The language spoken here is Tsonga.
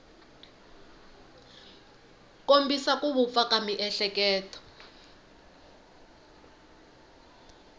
kombisa ku vupfa ka miehleketo